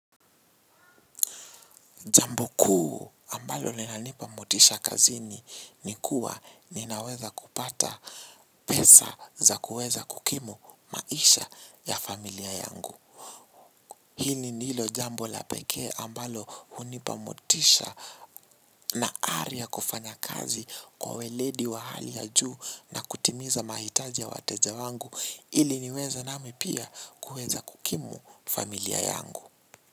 Jambo kuu ambalo linanipa motisha kazini ni kuwa ninaweza kupata pesa za kuweza kukimu maisha ya familia yangu. Hili ni hilo jambo la pekee ambalo hunipa motisha na ari ya kufanya kazi kwa weledi wa hali ya juu na kutimiza mahitaji ya wateja wangu ili niweze nami pia kuweza kukimu familia yangu.